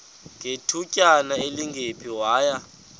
ngethutyana elingephi waya